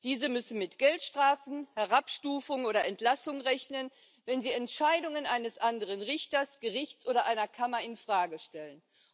Diese müssen mit Geldstrafen, Herabstufung oder Entlassung rechnen, wenn sie Entscheidungen eines anderen Richters, Gerichts oder einer Kammer infrage stellen.